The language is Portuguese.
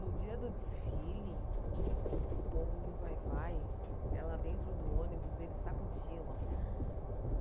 No dia do desfile, o povo do vai-vai, ela dentro do ônibus, eles sacudiam assim, no ônibus.